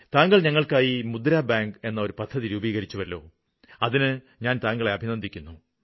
താങ്കള് ഞങ്ങള്ക്കായി മുദ്ര ബാങ്ക് എന്ന പദ്ധതി രൂപീകരിച്ചുവല്ലോ അതിന് ഞാന് താങ്കളെ അഭിനന്ദിക്കുന്നു